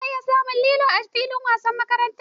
Za a iya samun lilo a fillin wasan makaranta.